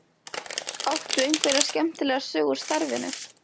Áttu einhverja skemmtilega sögu úr starfinu?